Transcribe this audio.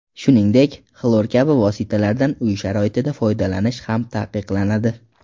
Shuningdek, xlor kabi vositalardan uy sharoitida foydalanish ham taqiqlanadi.